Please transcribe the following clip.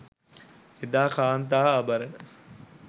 එදා කාන්තා ආභරණ